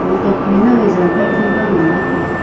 ho tokphai nang ye zan khampa nganla taiga.